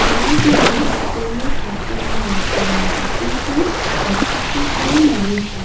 এয়ারগুলি কোন ক্যাফে বা রেস্টুরেন্টের কিন্তু ঘরটিতে কোন মানুষ নেই।